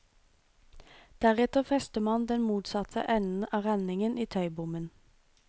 Deretter fester man den motsatte enden av renningen i tøybommen.